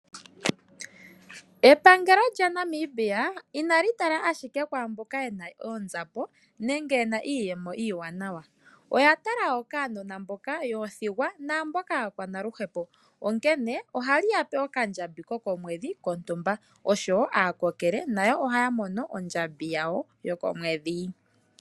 Epangelo lyaNamibia inali inali tala ashike kwamboka yena oonzapo nenge yena iiyemo iiwanawa oya tala nokaanana mboka aathigwa namboka aakwanaluhepo onkene ohali ya pe okandjambi koko mwedhi kontumba naakokele nayo ohaya mono ondjambi yawo yoko mwedhi.